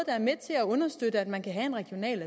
er med til at understøtte at man kan have en regional